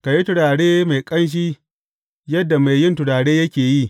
Ka yi turare mai ƙanshi yadda mai yin turare yake yi.